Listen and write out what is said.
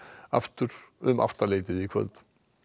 aftur um áttaleytið í kvöld